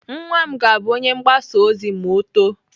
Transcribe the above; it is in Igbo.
Nwa m ga-abụ onye ọrụ mgbasa ozi ma ọ too.